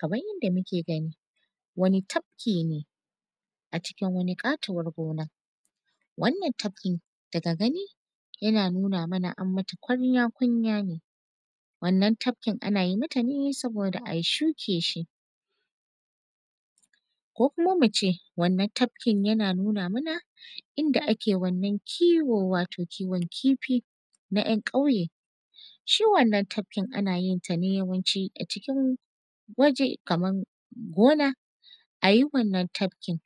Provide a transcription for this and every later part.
Kamar yadda muke gani wani tafki ne a cikin wata katuwar gona, wannan tafkin daga gani yana nuna mana an mata kunya-kunya ne wannan tafkin ana yi mata ne saboda ayi shuke shi ko kuma muce wannan tafkin yana nuna mana inda ake wannan kiwon wato kiwon kifi na ‘yan kauye shi wannan tafkin ana yenta ne yawanci a cikin waje kamar gona ayi wannan tafkin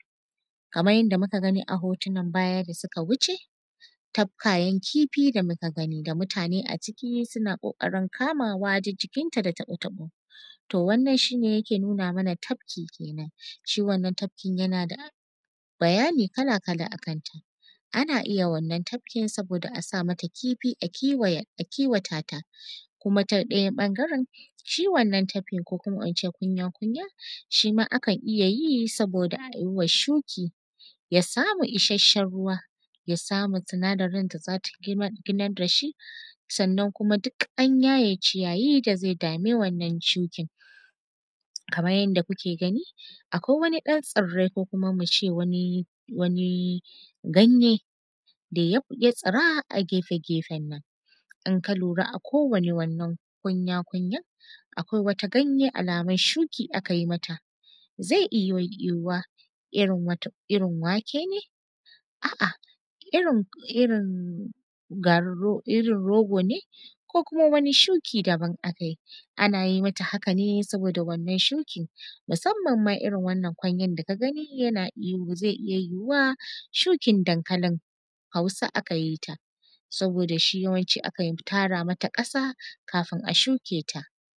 kamar yadda muka gani a hotunan baya da suka wuce tafkayen kifi da muka gani da mutane a ciki suna kokarin kamawa duk jikinta da taɓo-taɓo to wannan shi ne yake nuna mana tafki kenan shi wannan tafkin yana da bayani kala-kala akan ta ana iya wannan tafkin saboda asa mata kifi a kiwatata kuma ta ɗaya ɓangaren shi wannan tafkin ko kuma in she kunya-kunya shi ma akan iya yi saboda ayi wa shuki ya samu isashen ruwa ya samu sinadarin da zata ginan da shi sannan kuma duk an yaye ciyayi da zai dami wannan shukin, kamar yadda kuke gani akwai wani ɗan tsirai ko kuma muce wani ganye da ya tsira a gefen nan in ka lura a kowane kunya-kunyan akwai wata ganye alamun shuki akai mata zai iya yuhuwa irin wake ne a’a irin rogo ne ko kuma wani shuki daban aka yi, ana yi mata haka ne saboda wannan shukin musamman ma irin wanna kunyan da kaga ni yana iyo zai iya yuhuwa shukin dankalin hausa aka yi ta saboda shi yawanci akan tara mata kasa kafin a shuke ta.